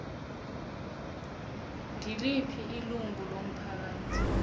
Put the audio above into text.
ngiliphi ilungu lomphakathi